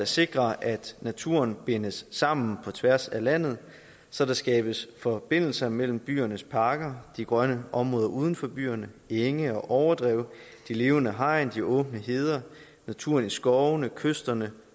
sikre at naturen bindes sammen på tværs af landet så der skabes forbindelser mellem byernes parker de grønne områder uden for byerne enge og overdrev de levende hegn de åbne heder og naturen i skovene ved kysterne